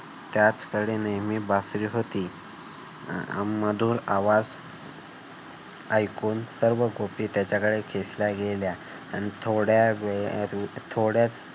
त्याच्याकडे नेहमी बासरी होती. मधूर आवाज ऐकून सर्व गोपी त्याच्याकडे खेचल्या गेलेल्या. आणि थोड्या वेळात थोड्या